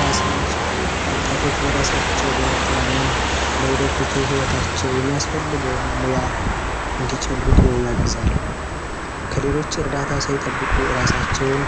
ራስን መቻል ወጣቶች በራሳቸው በመተማመን ለወደፊቱ ሂወታቸው የሚያስፈልገውን ሙያ እንዲጨብጡ ያግዛል። ከሌሎች እርዳታ ሳይጠብቁ እራሳቸውን